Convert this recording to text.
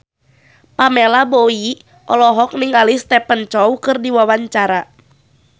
Pamela Bowie olohok ningali Stephen Chow keur diwawancara